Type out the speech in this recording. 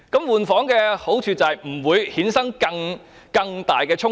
"換房"的好處是不會衍生更大的衝突。